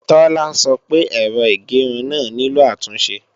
Tola sọ pé èrò ìgẹrun náà nílò àtúnṣe